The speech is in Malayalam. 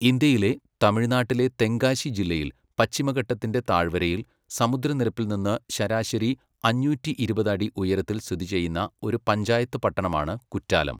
ഇന്ത്യയിലെ, തമിഴ്നാട്ടിലെ തെങ്കാശി ജില്ലയിൽ പശ്ചിമഘട്ടത്തിന്റെ താഴ്വരയിൽ, സമുദ്രനിരപ്പിൽ നിന്ന് ശരാശരി അഞ്ഞൂറ്റി ഇരുപത് അടി ഉയരത്തിൽ സ്ഥിതി ചെയ്യുന്ന, ഒരു പഞ്ചായത്ത് പട്ടണമാണ് കുറ്റാലം.